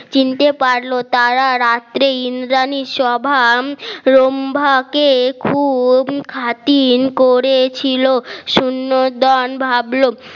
চিনতে পারল তারা রাত্রে ইন্দ্রানী স্বভাব রম্ভা কে খুব খাতির করেছিল সুনন্দন ভাবলো